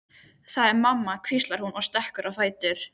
Það er mamma, hvíslar hún og stekkur á fætur.